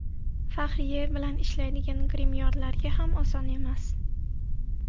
Fahriye bilan ishlaydigan grimyorlarga ham oson emas.